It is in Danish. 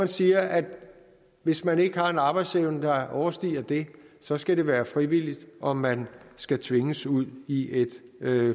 siger at hvis man ikke har en arbejdsevne der overstiger det så skal det være frivilligt om man skal tvinges ud i et